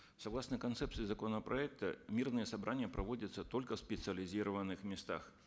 согласно концепции законопроекта мирные собрания проводятся только в специализированных местах